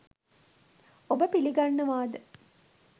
ඔබ පිළිගන්නවාද?